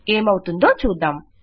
ఏమవుతుందో చూద్దాం